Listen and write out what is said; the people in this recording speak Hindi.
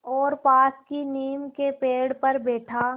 और पास की नीम के पेड़ पर बैठा